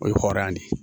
O ye hɔrɔnya de ye